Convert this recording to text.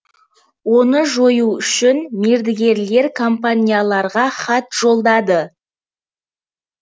оны жою үшін мердігерлер компанияларға хат жолдады